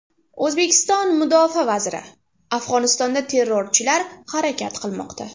O‘zbekiston mudofaa vaziri: Afg‘onistonda terrorchilar harakat qilmoqda.